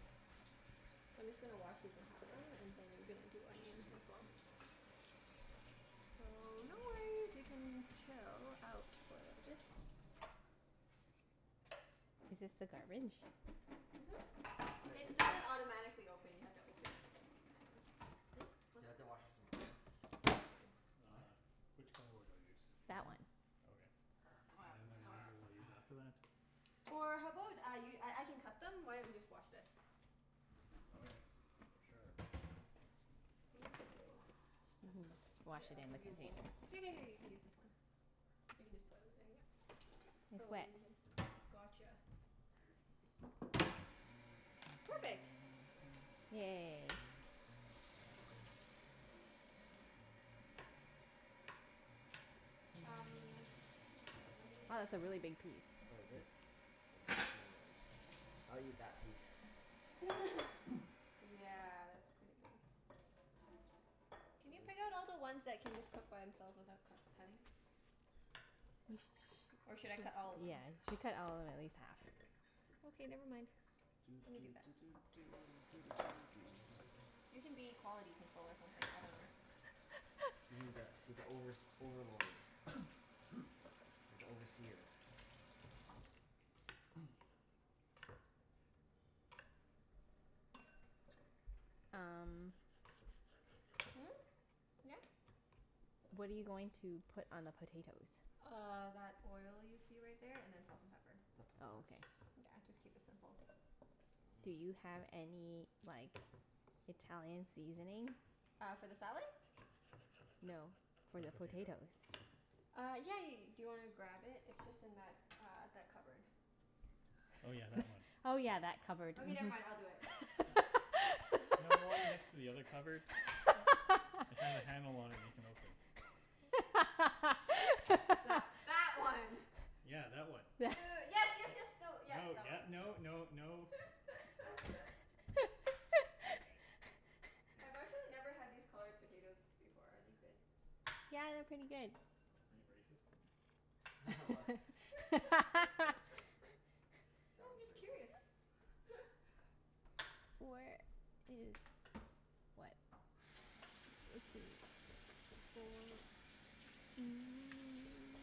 I'm just gonna wash these and half them and then gonna do onions as well. So no worries, you can chill out for a little bit. Is this the garbage? Mhm. It doesn't automatically open, you have to open it. I know it's, yes? Do What's I have up? to wash this in water? No, it's fine. What? Which cutting board do I use? That That one. one? Okay. C'mon, c'mon I use after that? Or how about I y- I I can cut them? Why don't you just wash this? Okay. Sure. Thank you. Mhm. Wash Here it I'll in the give you a container. bowl. Here here here you can use this one. You can just pour them in there, yep. It's Oh let wet. me get. Gotcha. Perfect. Yay. Um okay, let me Oh, get a that's a really big piece. Oh, is it? I'll cut smaller ones. I'll eat that piece. Yeah, that's pretty big. Can you Is pick out this all the ones that can just cook by themselves without cut cutting? Or should I cut all of them? Yeah, you should cut all of them at least half. Okay, never mind. Doo Let me do doo that. doo doo doo doo doo doo doo. You can be quality control or something. I dunno. You need that, be the overs- overlord. Like the overseer. Um Hmm? Yeah? What are you going to put on the potatoes? Uh that oil you see right there and then salt and pepper. The Oh, potats. okay. Yeah, just keep it simple. Do you have any like Italian seasoning? Uh for the salad? No. For For the the potato. potatoes. Uh yeah yeah ye- . Do you want to grab it? It's just in that uh that cupboard. Oh yeah, that one. Oh yeah, that cupboard. Okay never Mhm. mind, I'll do it. You know the one next to the other cupboard? It's got a handle on it that you can open. That that one. Yeah, that one. Uh yes yes yes, no, yep, No, that yep, one. no no no. Okay. K. I've actually never had these colored potatoes before. Are they good? Yeah, they're pretty good. Are you racist? What? So I'm Sounds just curious. racist. Where is, what?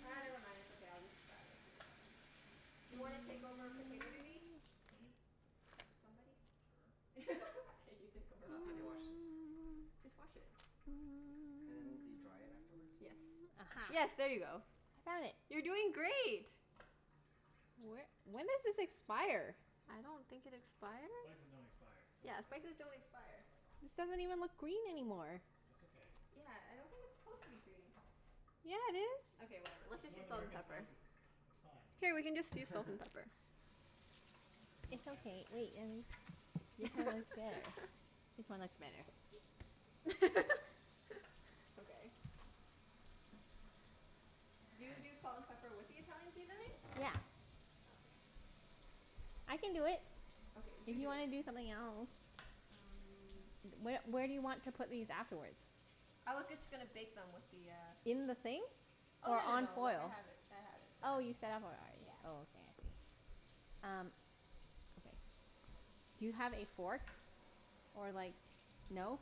Ah never mind. It's okay. I'll just grab it in a second. Do you want to take over potato duty? Me? Somebody? Sure. Okay, you take over Ho- how do you potato. wash this? Just wash it. And do you dry it afterwards? Yes. Yes, Aha. there you go. I found it. You're doing great. Wh- when does this expire? I don't think it expires. Spices don't expire. Don't be Yeah, silly. spices don't expire. This doesn't even look green anymore. That's okay. Yeah, I don't think it's supposed to be green. Yeah, it is. Okay whatever. Let's It's just North use salt and American pepper. spices. It's fine. Here, we can just use salt and pepper. There's no It's standards okay. here. Wait and this one looks better. This one looks better. Okay. Do you do salt and pepper with the Italian seasoning? Yeah. Okay. I can do it. Okay, If you you do it. wanna do something else? Um Wh- where do you want to put these afterwards? I was just going to bake them with the uh In the thing? Oh Or no no on no, like I foil? have it, I have it set Oh up. you set up already? Oh okay. Um okay. Do you have a fork, or like, no?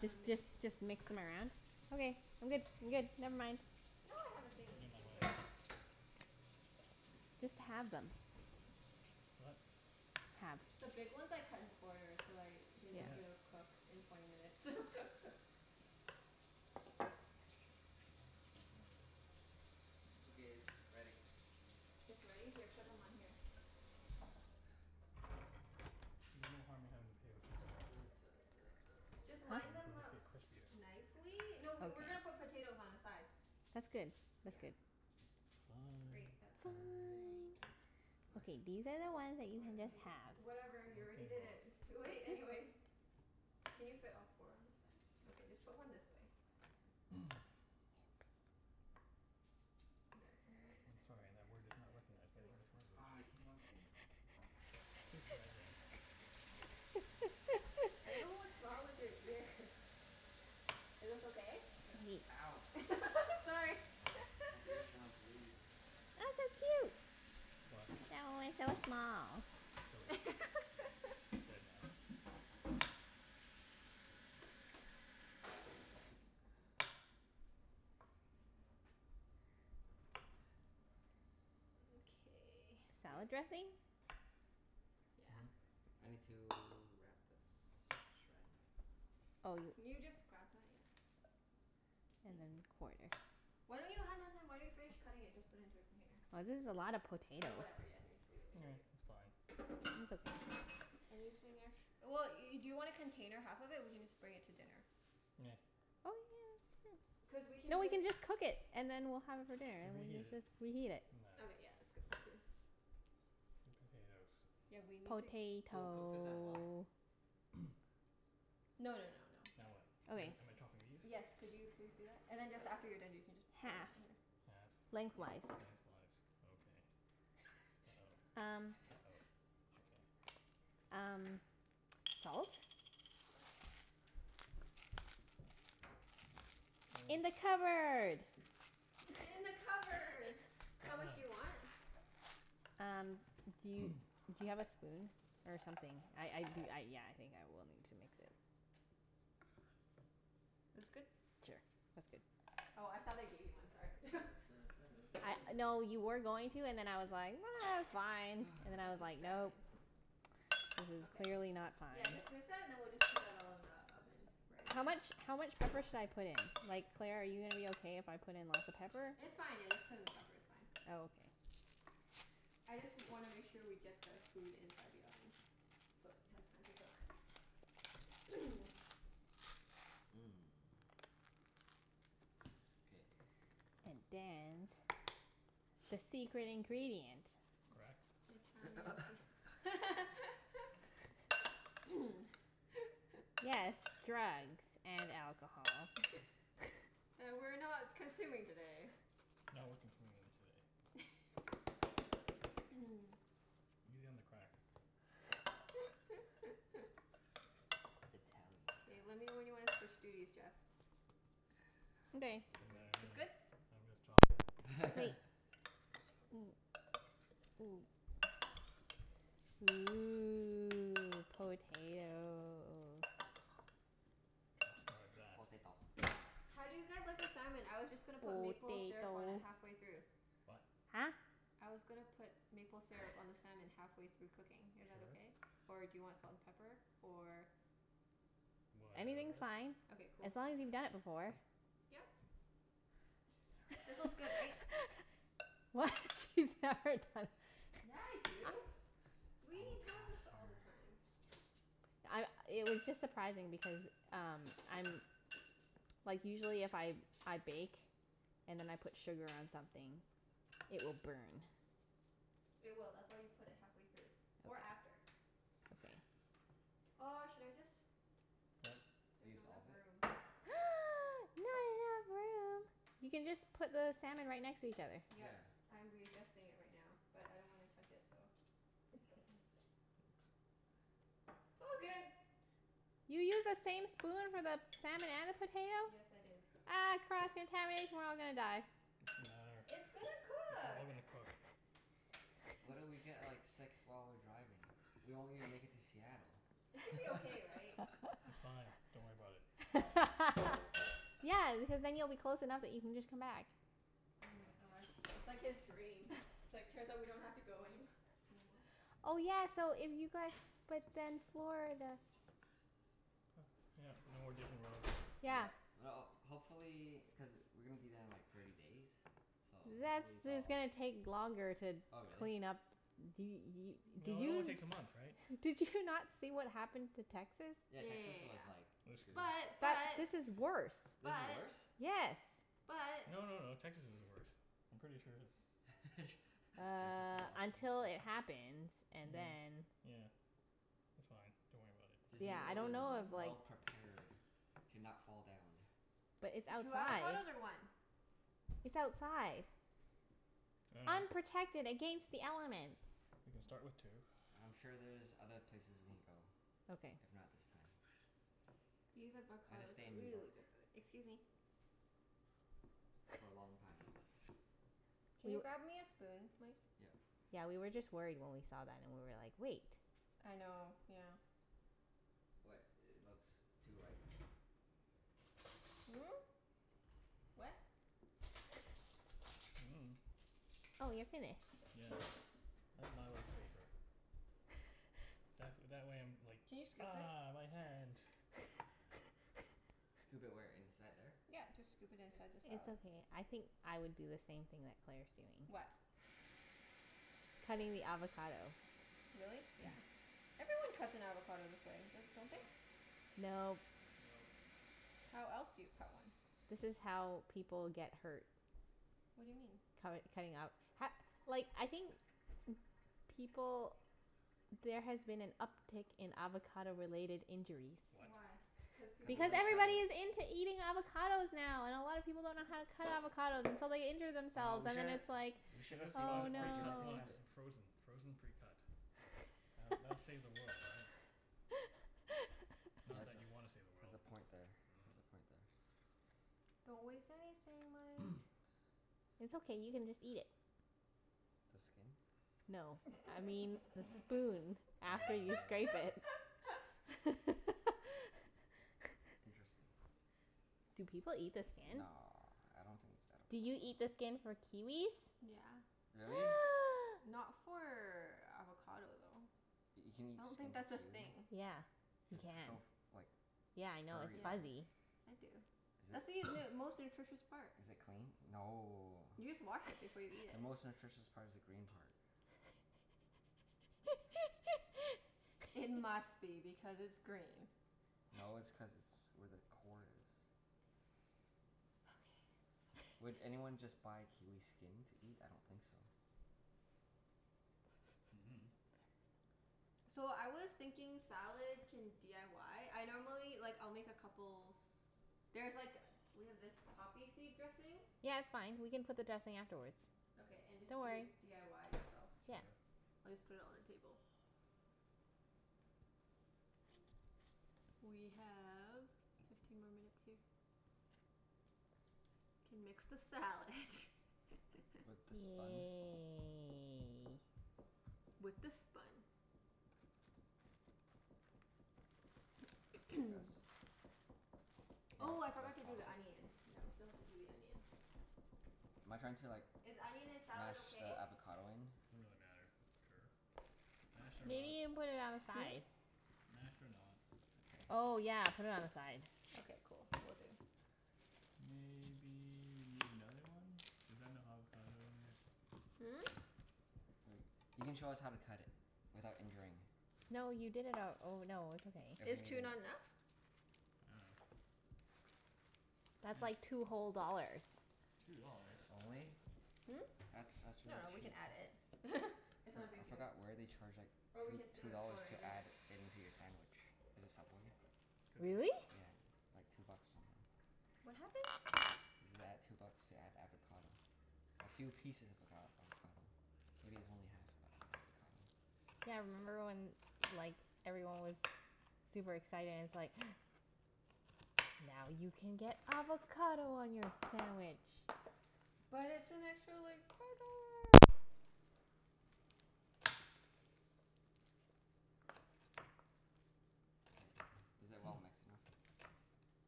Just just just mix them around? Okay, I'm good, I'm good. Never mind. No I have a thingie. You're in my Just wait. way. Just halve them. What? Halve. The big ones I cut in quarters, cuz I didn't know if they would Okay. cook in twenty minutes. Okay, it's ready. It's ready? Here, put them on here. There's no harm in having the potatoes too small. Just line them They'll just up get crispier. nicely. Okay. No, we we're going to put potatoes on the side. That's good. That's Yeah. good. Fine Great. That Fine. side fine. of What? Okay, these are the ones that you Oh Yep, can yeah. yeah just yeah. halve. Whatever, you already Okay did it. It's boss. too late anyways. Can you fit all four on this side? Okay, just put one this way. Yeah, can you move this I'm one? sorry, that word is not Yeah, good, recognized by good the work. English language. Aw it came off again. Please try again. I don't know what's wrong with your ears. Is this okay? Yeah. Ow. Sorry. My ear's gonna bleed. What? I killed it. It's dead now. Okay. Hey, Salad dressing? Yeah. Hmm? I need to wrap this in saran wrap. Oh y- Can you just grab that? Yeah. And Thanks. then quarter. Why don't you, hun hun hun. Why don't you finish cutting it and just put into a container? This is a lot of potato. Or whatever, yeah just leave it leave it leave It's it. fine. It's okay. Anything ex- well, y- do you want to container half of it? We can just bring it to dinner. Nah. Oh yeah, that's true. Cuz we No, can we just can just cook it and then we'll have it for dinner We'll and reheat we it. can reheat it. Doesn't matter. Okay yeah, that's good point too. The potatoes. Yeah, we need to So cook this as well? Potato. No no no no. Now what? Am Okay. I am I chopping these? Yes, could you please do that? And then just, after you're done you can just set them Half. on here. Halfed. Lengthwise. Lengthwise. Okay. uh-oh Um uh-oh. Okay. Um salt? Yes. In the cupboard. It's in the cupboard. How That much one. do you want? Um, do you, do you have a spoon or something? I I do, yeah, I think I will need to mix it. This good? Sure, that's good. Oh I thought I gave you one. Sorry. Da da da da No, da you were da going to and da then I was like, ah it's fine. And I then I got was like, no. distracted. This is Okay. clearly not fine. Yeah, just and then we'll just put that all in the oven right How away. much, how much pepper should I put in? Like Claire, are you gonna be okay if I put in lots of pepper? It's fine, yeah, just put in the pepper, it's fine. Oh okay. I just wanna make sure we get the food inside the oven so it has time to cook. Mmm, K. And dance, the secret ingredient. Crack? Italian sea- Yes, drugs and alcohol. That we're not consuming today. No, we're consuming them today. Easy on the crack. Italian K, let me know when crack. you want to switch duties Jeff. Okay. Doesn't matter to It's me. good? I'm just chopping. Ooh, potato. that. Potato. How do you guys like the salmon? I was just gonna put maple syrup on it Potato. halfway through. What? Huh? I was gonna put maple syrup on the salmon halfway through cooking. Is that Sure. okay? Or do you want salt and pepper? Or Anything's Whatever. fine, Okay, cool. as long as you've done it before. Yep. She's This never one's done good right? it before. What? She's never done? Yeah I do. We eat Don't cross halibut all her. the time. I, it was just surprising because um, I'm, like usually if I I bake and then I put sugar on something, it will burn. It will. That's why you put it halfway through or Okay. after. Okay. Oh should I just, What? there's Use not enough all of it? room. Not enough room? You can just put the salmon right next to each other. Yep. Yeah. I'm readjusting it right now, but I don't want to touch it, so. Oops. It's all good. You used the same spoon for the salmon and the potato? Yes, I did. Ah cross contamination. We're all gonna die. It doesn't matter. It's gonna It's cook. all gonna cook. What if we get like sick while we're driving? We won't even make it to Seattle. It should be okay right? It's fine. Don't worry about it. Yeah, because then you'll be close enough that you can just come back. Oh my Yes. gosh. That's like his dream. It's like, turns out we don't have to go anywh- anymore. Oh yeah, so if you guys, but then Florida. Yep. No more Disney World. Yeah. Yeah, well hopefully. Cuz we're going to be there in like thirty days, so That's, hopefully it's it's all gonna take longer to Oh really? clean up. D- y- did No, it you only takes a month right? did you not see what happened to Texas? Yeah, Texas Yeah was like They're yeah screwed. screwed. yeah This is yeah. worse. This is But. worse? But. Yes. But. No no no. But. Texas is the worst. I'm pretty sure that Jeff is so Uh until it optimistic. happens and then Yeah. It's fine. Don't worry about it. Disney Yeah, I World don't is know if like well prepared to not fall down. But it's Two outside. avocados or one? It's outside. Unprotected against the elements. We can start with two. I'm sure there's other places we can go, Okay. if not this time. These I'll just avocados stay are in New really York good by the, excuse me. for a long time. Can Do you you grab me a spoon Mike? Yep. Yeah, we were just worried when we saw that and we were like, wait. I know. Yeah. What? It looks too ripe? Hmm? What? Oh you're finished. Yeah. I think my way's safer. That wh- that way I'm like, Can you scoop this? ah, my hand. Scoop it where? Inside there? Yep. Just scoop it K. inside the It's salad. okay. I think I would do the same thing that Claire's doing. What? Cutting the avocado. Really? Yeah. Everyone cuts an avocado this way, don't don't they? Nope. No. Nope. How else do you cut one? This is how people get hurt. What do you mean? Cutt- cutting up h- like I think people, there has been an uptake in avocado related injuries. What? Why? Cuz Cuz people if Because like we're cutting everybody's into eating avocados now and a lot of people don't know how to cut avocados and so they injure Oh themselves, we and then should, it's like, We we should should have have just saved one bought a oh no. for Junette precut to one cut it. in frozen. Frozen precut. That'll that'll save the world, right? Not that you want to save the Has world, a cuz point there. Has a point there. Don't waste anything Mike. It's okay, you can just eat it. The skin? No. I mean the spoon after you scrape Oh. it. Interesting. Do people eat the skin? No, I don't think it's Do you edible. eat the skin for kiwis? Yeah. Really? Not for avocado though. You can eat I don't skin think that's of a a thing. kiwi? Yeah, you It's so can. f- like Yeah I know, it's furry Yeah. though. fuzzy. I do. Is That's it, the most nutritious part. is it clean? No. You just wash it before you eat The it. most nutritious part is the green part. It must be because it's green. No, it's cuz it's where the core is. Okay Would okay. anyone just buy kiwi skin to eat? I don't think so. Mhm. So I was thinking salad can d i y? I normally, like I'll make a couple. There's like, we have this poppy seed dressing? Yeah, it's fine. We can put the dressing afterwards. Okay and just Don't do it worry. d i y yourself. Sure. We'll just put it on the table. We have fifteen more minutes here. Can mix the salad. With the spun? Yay. With the spun. Like this? Oh I forgot to do toss it? the onion. Yeah, we still have to do the onion. Am I trying to like Is onion in salad mash the okay? avocado in? Doesn't really matter. Sure. Mashed or Okay. Maybe not. you can put it on the Hmm? side? Mashed or not. Okay. Oh yeah, put it on the side. Okay, cool. Will do. Maybe you need another one? Is that enough avocado in there? Hmm? Wait. You can show us how to cut it without injuring. No you did it al- oh no, it's okay. Is two not enough? I dunno. That's like two whole dollars. Two dollars? Only? Hmm? That's, that's really No, we can cheap. add it. It's not For- a I big deal. forgot where they charge like Or we two can save two it for dollars our to dinner. add it into your sandwich. Is it Subway? Could be. Really? Yeah. Like two bucks or something. What happened? You add two bucks to add avocado. A few pieces of avocad- avocado. Maybe it's only half of an avocado. Yeah, remember when like everyone was super excited and it's like, now you can get avocado on your sandwich. But it's an extra like four dollar. K, is it well mixed enough?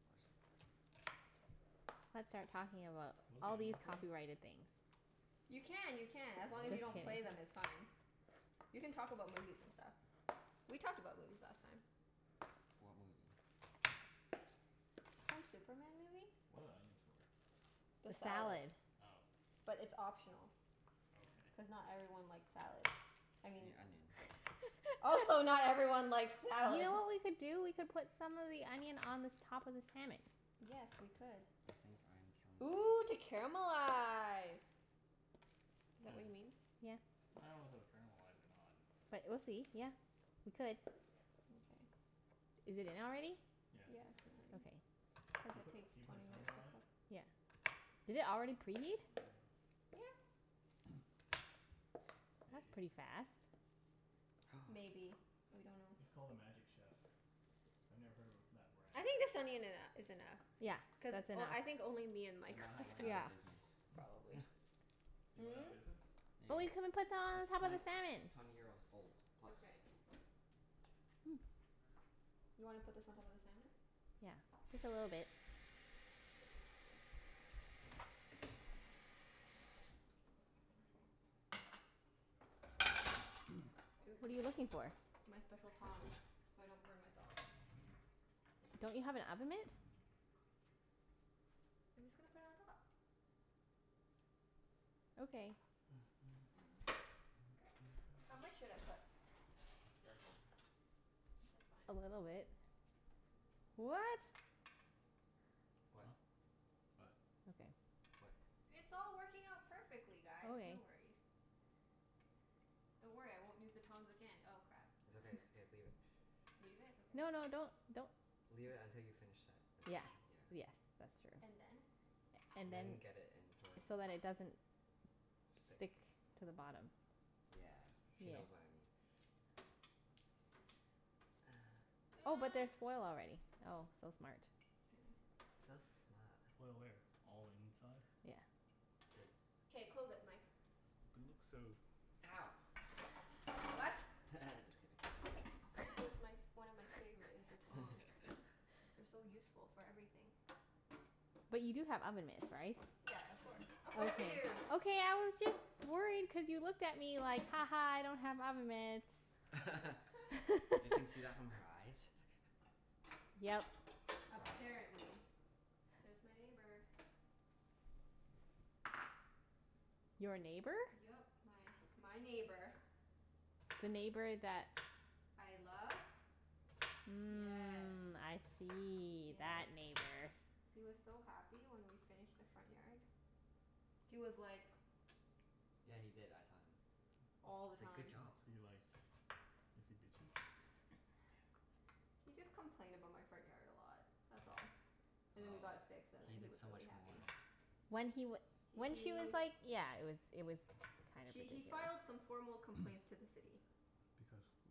Or s- Let's start talking about What is the all these onion for? copyrighted things. You Just can, kidding. you can. As What long are as you the don't onions play them for? it's fine. You can talk about movies and stuff. We talked about movies last time. What movie? Some Superman movie. What are the onions for? The The salad. salad. Oh. But it's optional. Okay. Cuz not everyone likes salad. I You mean. mean onion. Also You not everyone likes salad. know what we could do? We could put some of the onion on the top of the salmon. Yes, we could. I think I'm killing Ooh to this. caramelize. Is that what you mean? Yeah. I don't know if it will caramelize or not. But we'll see. Yeah, we could. Mkay. Is it in already? Yeah, it's Yeah, in it's in already. already. Okay. Cuz Do you it put, takes do you put a twenty minutes timer to on it? cook. Yeah. Did it already preheat? Yeah. That's Maybe. pretty fast. Maybe. We don't know. It's called a Magic Chef. I've never heard of a that brand. I think the salmon eno- is enough Yeah, cuz that's enough. o- I think only me and They Mike might like have went it out Yeah. of business. probably. They went out Hmm? of business? There you But go. we can put some It's on top of twent- the its salmon. twenty years old plus. Okay. You wanna put this on top of the salmon? Yeah. Just a little bit. What are you Oops. looking for? My special tongs, so I don't burn myself. Don't you have an oven mitt? I'm just going to put it on top. Okay. How much should I put? Careful. It's fine. A little bit. What? What? Oh? What? Okay. What? It's all working out perfectly guys. No Okay. worries. Don't worry, I won't use the tongs again. Oh crap. It's okay, it's okay. Leave it. Leave it? Okay. No no, don't, don't. Leave it until you finish that and Yeah. then. Yeah. Yes, that's true. And then? And And then. then get it and throw it in the So that it doesn't Stick. stick to the bottom. Yeah. She knows what I mean. Oh but there's foil already. Oh, so smart. So smart. Foil where? All the inside? Yeah. Good. K, close it Mike. But it looks so, Ow. I dunno. What? Just kidding. This is my f- one of my favorite, is the tongs. They're so useful for everything. But you do have oven mitts, right? Yeah, of course. Of course we do. Okay I was just worried cuz you looked at me like, ha ha I don't have oven mitts. You can see that from her eyes? Yep. Apparently. There's my neighbor. Your neighbor? Yep. My my neighbor. The neighbor that I love? Yes. Mm, I see. That Yes. That. neighbor. He was so happy when we finished the front yard. He was like Yeah, he did. I saw him. All He the said, "Good time. job." Is he like, is he bitchy? He just complained about my front yard a lot, that's all. And then we Oh, got it fixed and he then he did was so really much more. happy. When he w- H- when he was he like yeah. It was, it was kind of he he ridiculous. filed some formal Because, complaints to the City.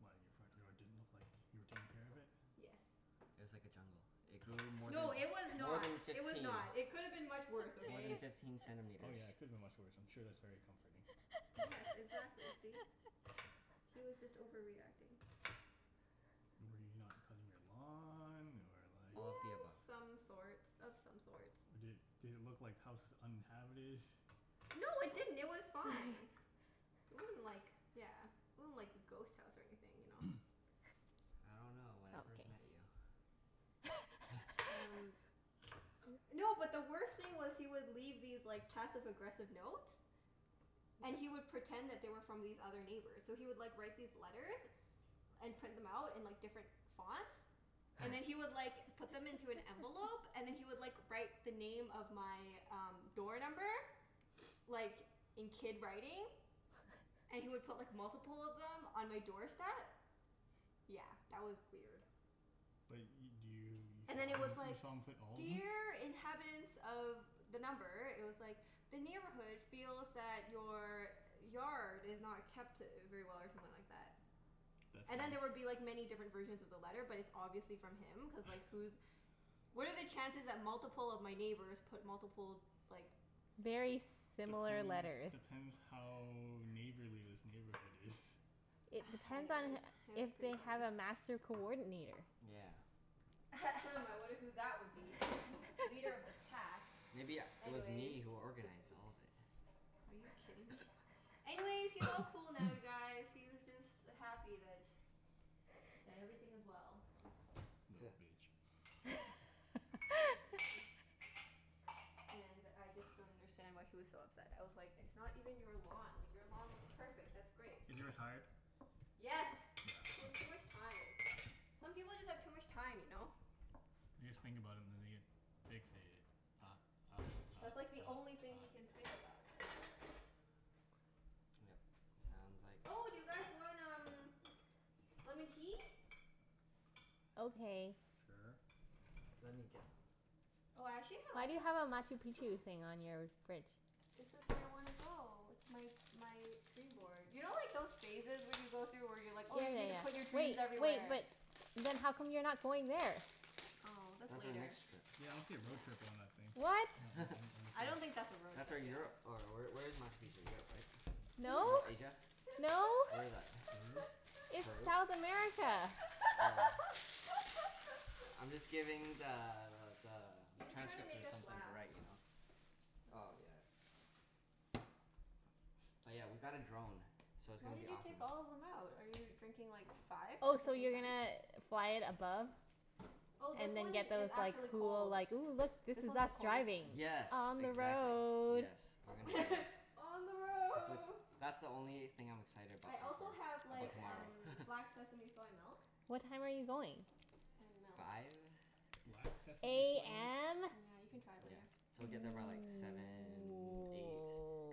why? Your front yard didn't look like you were taking care of it? Yes. It was like a jungle. It grew more than, No, it was more not. than It was fifteen, not. It could have been much worse, more than okay? fifteen Oh centimeters. yeah, it could have been much worse. I'm sure that's very comforting. Yes, exactly. See? He was just overreacting. Were you not cutting your lawn or like All of the above. Some sorts. Of some sorts. Or did, did it look like house was uninhabited? No it didn't. It was fine. It wasn't like, yeah, it wasn't like a ghost house or anything, you know? I don't know. When I first met you. Okay. Um. No, but the worst thing was, he would leave these like passive aggressive notes. And he would pretend that they were from these other neighbors. So he would like write these letters and print them out in like different fonts. And then he would like put them into an envelope and then he would like write the name of my um door number, like in kid writing. And he would put like multiple of them on my doorstep. Yeah, that was weird. But y- And do then you, it was you saw him, like, you saw him put all of them? "Dear inhabitants of" the number, it was like, "The neighborhood feels that your yard is not kept very well" or something like that. That's And then there would be nice. like many different versions of the letter but it's obviously from him, cuz like who's, what are the chances that multiple of my neighbors put multiple like Very similar Depends, letters. depends how neighborly this neighborhood is. It depends on Anyways, it was if pretty they funny. have a master coordinator. Yeah. I wonder who that would be? Leader of the pack. Maybe u- it was Anyways. me who organized all of it. Are you kidding me? Anyways, he's all cool now you guys. He's just happy that, that everything is well. Huh. Little bitch. Basically. And I just don't understand why he was so upset. I was like, it's not even your lawn. Like your lawn looks perfect. That's great. Is he retired? Yeah, Yes. He has too okay. much time. Some people just have too much time, you know? They just think about it and then they get fixated. Ah ah ah ah That's like the only thing he can think ah. about Yep. Sounds like. Oh, do you guys want um lemon tea? Okay. Sure. Let me get them. Oh, I actually have Why do you have a Machu Picchu thing on your fridge? This is where I wanna go. It's my my dream board. You know like those phases when you go through, where you're like Oh oh yeah you need to put your yeah dreams yeah. Wait wait, everywhere? but then how come you're not going there? Oh that's That's our later. next trip. Yeah road trip on that thing. What? On on I don't think that's a the road That's where trip, yeah. Europe or where where is Machu Picchu? Europe, right? No, No. Asia? No. Where is that? Peru? It's Peru? South America. Oh. I'm just giving the the He's just trying to make transcriptor us something to laugh. write, you know? That's Oh all. yeah. Oh yeah, we got a drone, so it's Why gonna be did you awesome. take all of them out? Are you drinking like five Oh at the so same you're time? gonna fly it above? Oh, this And then one get is those like actually cool cold. like, "Ooh look, this This is one's the us coldest driving." one. Yes, On the exactly. road. Yes. We're gonna On the That's road. that's the only thing I'm excited about I so also have far, like about tomorrow. um black sesame soy milk. What time are you going? And milk. Five. Black sesame soy milk? AM? Yeah, you can try it Yeah. later. So we get there by like seven, eight.